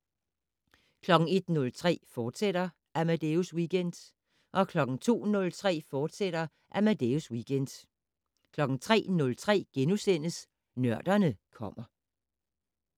01:03: Amadeus Weekend, fortsat 02:03: Amadeus Weekend, fortsat 03:03: Nørderne kommer *